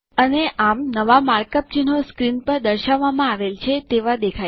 અને આમ નવા માર્કઅપ ચિહ્નો સ્ક્રીન પર દર્શાવવામાં આવેલ છે તેવા દેખાય છે